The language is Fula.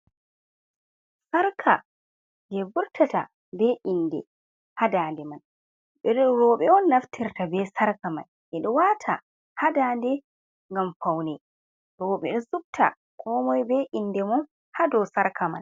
Sarka jei vurtata be inde ha dande mai. Minin roɓe on naftirta be sarka mai, ɓe ɗo wata hadande gam paune. Roɓe ɗo subta ko moi be inde mun hadau sarka mai.